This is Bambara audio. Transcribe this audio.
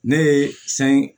Ne ye san